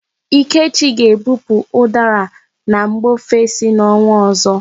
Ikechi ga-ebupu ụdara na mba ofesi n'ọnwa ọzọ.